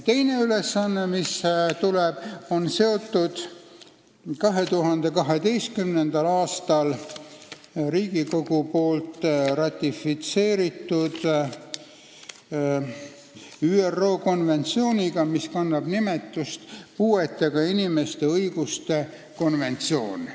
Teine ülesanne, mis lisandub, on seotud 2012. aastal Riigikogus ratifitseeritud ÜRO puuetega inimeste õiguste konventsiooniga.